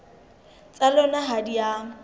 tsa lona ha di a